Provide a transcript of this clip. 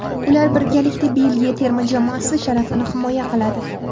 Ular birgalikda Belgiya terma jamoasi sharafini himoya qiladi.